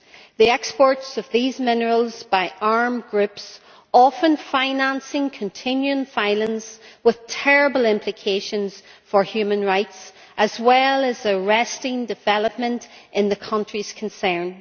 The exports of these minerals by armed groups often finance continuing violence with terrible implications for human rights, as well as arresting development in the countries concerned.